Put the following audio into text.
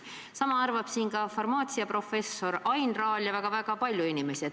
Sama arvab ka farmaatsiaprofessor Ain Raal ja väga palju teisi inimesi.